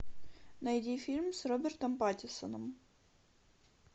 найди фильм с робертом паттинсоном